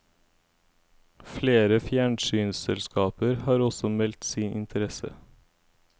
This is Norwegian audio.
Flere fjernsynsselskaper har også meldt sin interesse.